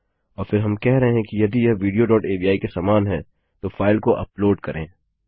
और फिर हम कह रहे हैं कि यदि यह विडियो डॉट अवि के समान है तो फाइल को अपलोड करें